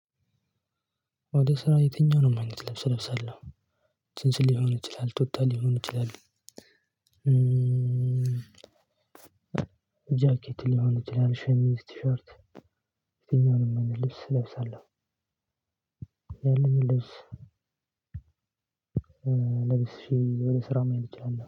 ወደ ስራ የትኛውንም አይነት ልብስ እለብሳለው። ጅንስ ሊሆን ይችላል ቱታ ሊሆን ይችላል። ጃኬት ሊሆን ይችላል ሸሚዝ ቲሸርት ልብስ እለብሳለሁ። ያለኝን ልብስ። ለብሼ ወደ ስራ መልስ ይችላል